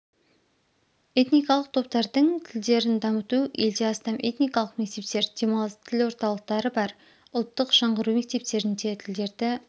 этникалық топтардың тлдерн дамыту елде астам этникалық мектептер демалыс тіл орталықтары бар ұлттық жаңғыру мектептерінде тілдерді